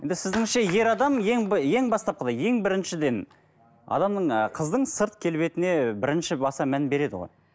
енді сіздіңше ер адам ең ең бастапқыда ең біріншіден адамның ы қыздың сырт келбетіне бірінші баса мән береді ғой